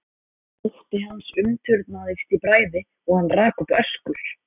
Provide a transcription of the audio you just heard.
Ótti hans umturnaðist í bræði og hann rak upp öskur.